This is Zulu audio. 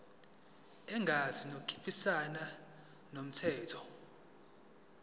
engenzi okuphikisana nomthetho